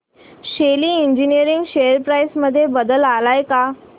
शेली engineering share price मध्ये बदल आलाय का